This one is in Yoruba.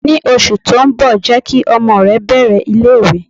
Ní oṣù tó ń bọ̀, jẹ́ kí ọmọ rẹ bẹ̀rẹ̀ ilé ìwé.